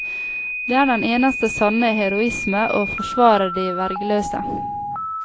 Det er den eneste sanne heroisme, å forsvare de vergeløse.